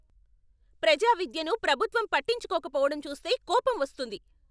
ప్రజా విద్యను ప్రభుత్వం పట్టించుకోకపోవడం చూస్తే కోపం వస్తుంది.